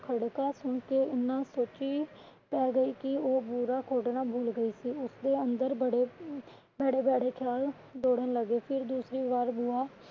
ਖੜਕਾ ਸੁਣਕੇ ਇਹਨਾਂ ਸੋਚੀ ਪੈ ਗਈ ਸੀ ਉਹ ਬੂਆ ਖੋਲ੍ਹਣਾ ਭੁੱਲ ਗਈ ਸੀ ਉਸ ਦੇ ਅੰਦਰ ਬੜੇ ਭੈੜੇ ਖਿਆਲ ਦੋੜਨ ਲਗੇ ਸੀ ਔਰ ਦੂਸਰੀ ਵਾਰ ਬੂਆ